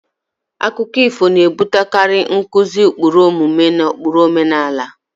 Akụkọ ifo na-ebutekarị nkuzi ụkpụrụ omume na ụkpụrụ omenala.